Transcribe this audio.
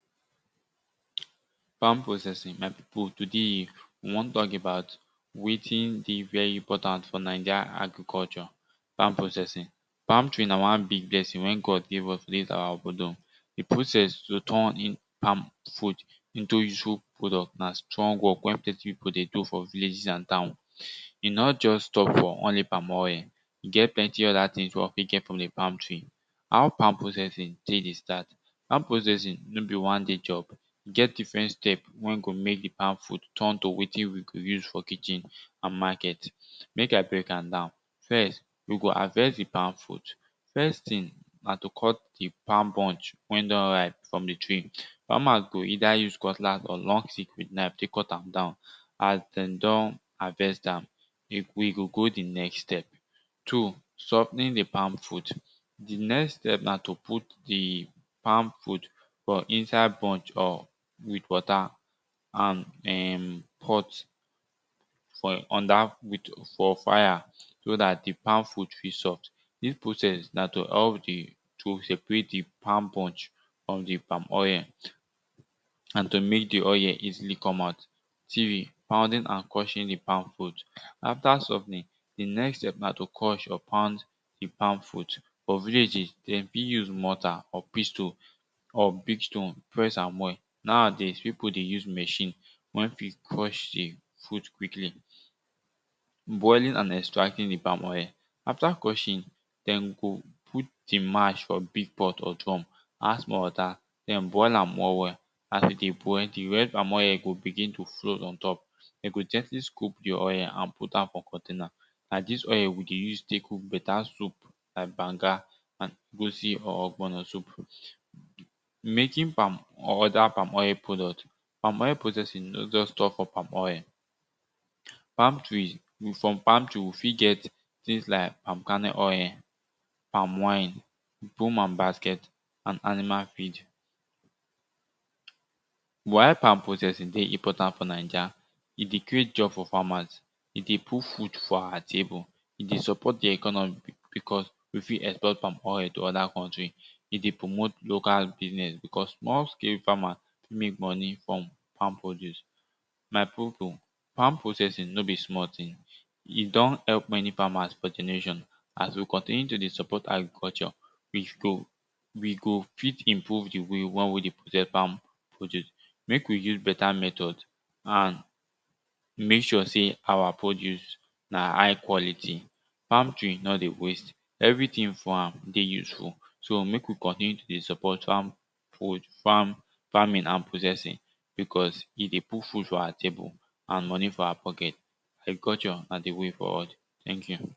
palm processing my pipu today we wan talk about wetin dey very important for naija agriculture farm processing palm tree na one big blessing wen God give us to ease awa bordom. di process to turn di palm fruit into useful product na strong work wey plenti pipu dey do for villages and town e nor just stop for only palm oil e get plenty other things for wey we fit get for di pam tree. how palm processing dey start, palm processing no be one day job get different steps wey go mek di palm fruit turn to wetin we go use for kitchen and market mek i break am down first you go harvest di palm fruit, first thing na to cut di palm bunch wen don ripe for di tree. farmers go either use cutlass or long stick wit knife tek cut am down as den don harvest am, we go go di next step two sof ten ing di palm fruit. di next step na to put di palm fruit for inside bunch or water um and pot for under for fire so dat di palm fruit fit soft. dis process na to help di to seperate di palm bunch frum di palm oil and to mek di oil easily come out three pounding and crushing di palm fruit after sof ten ing di next step na to crush or pound di palm fruit. fo villages dem fit use mortal or pestol or big stone press am well nowadays pipu dey use machine wen fit crush di fruit quickly boiling and extracting di palm oil afta crushing dem go put di mash fo big pot or drum add small water den boil am well well as e dey boil d red palm oil go begin to float on top dem go gently scop di oil and put am for container na dis oil we dey use tek cook beta soup like banga and egusi or ogbono soup. making palm or oda palm oil product, palm oil processing no just stop for palm oil, palm trees in some palm tree we fit get things like palm kernel oil, palm wine broom and basket and animal feed why palm processing dey important fo naija, e dey create job fo famas e de put food fo awa table e dey support de economy becus we fit export palm oil to oda kontri e de promote local biznes becos small scale famas make monie frum fam produce my pipu palm processing no be small ting e don help many famas fo d nation as we continue to dey support agriculture we go we go fit improve di way wey we de process palm produce mek we use beta method and mak sure say our produce na high quality palm tree no dey waste everytin frum am dey useful so mek we continue to dey support farm work farm farming and processing becus e dey put food fo awa table and moni for our pocket agriculture na di way forward teink yu